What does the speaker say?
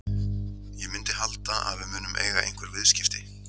Ég myndi halda að við munum eiga einhver viðskipti.